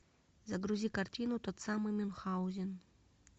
загрузи картину тот самый мюнхаузен